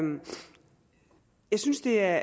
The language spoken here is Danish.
jeg synes det er